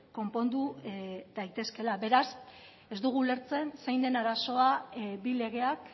konpondu daitezkeela beraz ez dugu ulertzen zein den arazoa bi legeak